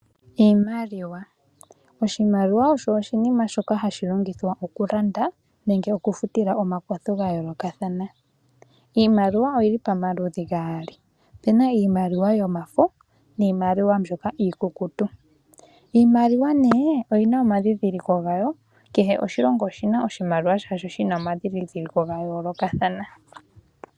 Iimaliwa, oshimaliwa osho oshinima shoka hashi longithwa okulanda nenge okufutila omakwatho gayoolokathana. Iimaliwa oyili pamaludhi gaali. Opena iimaliwa yomafo niimaliwa mbyoka iikukutu. Iimaliwa nee oyina omadhidhiliko gawo, kehe oshilongo oshina oshimaliwa shasho shina omadhidhiliko gayoolokathana.